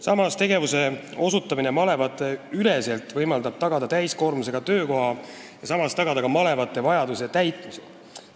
Samas, tegevuse osutamine malevateüleselt võimaldab tagada täiskoormusega töökoha ja tagada ka malevate vajaduse täitmine.